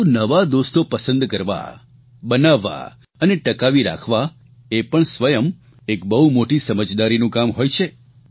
પરંતુ નવા દોસ્તો પસંદ કરવા બનાવવા અને ટકાવી રાખવા એ પણ સ્વયં એક બહુ મોટી સમજદારીનું કામ હોય છે